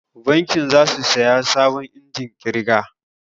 Bankin za su saya sabon injimin ƙirga